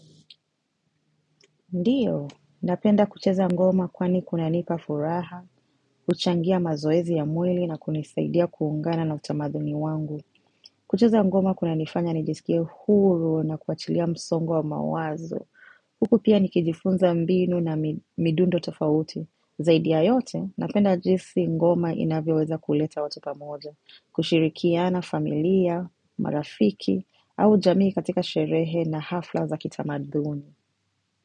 Ndiyo, napenda kucheza ngoma kwani kuna nipafuraha, kuchangia mazoezi ya mweli na kunisaidia kuungana na utamaduni wangu. Kucheza ngoma kunanifanya nijisikie huru na kuachilia msongo mawazo. Huku pia nikijifunza mbinu na midundo tofauti. Zaidi ya yote, napenda jinsi ngoma inavyoweza kuleta watu pamoja, kushirikiana familia, marafiki au jamii katika sherehe na hafla za kitamaduni.